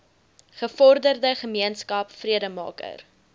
gevorderde gemeenskap vredemaker